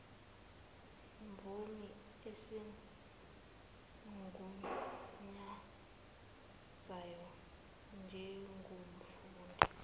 mvume esimgunyazayo njengomfundi